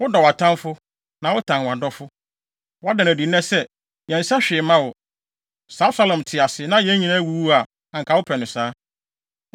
Wodɔ wʼatamfo, na wotan wʼadɔfo. Woada no adi nnɛ sɛ, yɛnsɛ hwee mma wo. Sɛ Absalom te ase, na yɛn nyinaa awuwu a, anka wopɛ no saa.